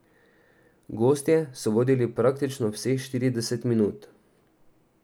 Gostje so vodili praktično vseh štirideset minut.